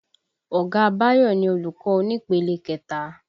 Ọ̀gá Bayo ni olùkọ́ onípele kẹta